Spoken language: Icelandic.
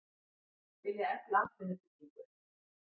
Vilja efla atvinnuuppbyggingu